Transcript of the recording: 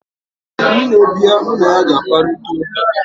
nne bia, mu na ya ga-akparita uka